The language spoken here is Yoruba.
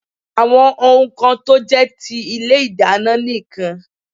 Àwọn ohun kan tó jé ti ilé ìdáná nì kan